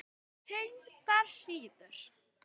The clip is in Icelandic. Tengdar síður